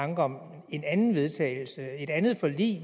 tanker om en anden vedtagelse eller et andet forlig